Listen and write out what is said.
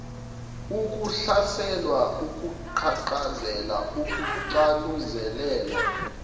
ukuhlaselwa ukuqhaqhazela ukucanuzelelwa